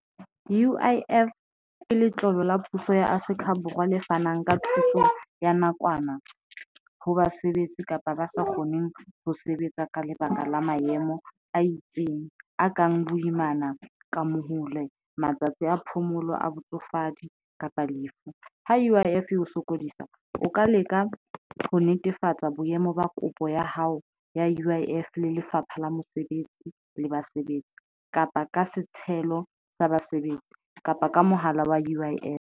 U_I_F ke letlolo la puso ya Afrika Borwa le fanang ka thuso ya nakwana ho basebetsi kapa ba sa kgoneng ho sebetsa ka lebaka la maemo a itseng a kang boimana, ka mohaule, matsatsi a phomolo, a botsofadi kapa lefu. Ho ume sokodisa o ka leka ho netefatsa boemo ba kopo ya hao ya U_I_F le Lefapha la Mosebetsi le Basebetsi kapa ka setshelo sa basebetsi kapa ka mohala wa U_I_F.